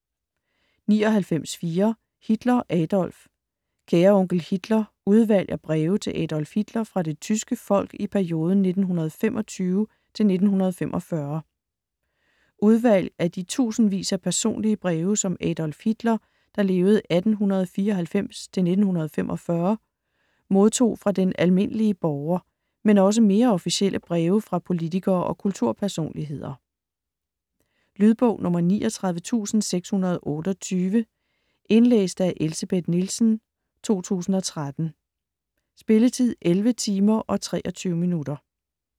99.4 Hitler, Adolf Kære onkel Hitler: udvalg af breve til Adolf Hitler fra det tyske folk i perioden 1925 til 1945 Udvalg af de tusindvis af personlige breve som Adolf Hitler (1894-1945) modtog fra den almindelige borger, men også mere officielle breve fra politikere og kulturpersonligheder. Lydbog 39628 Indlæst af Elsebeth Nielsen, 2013. Spilletid: 11 timer, 23 minutter.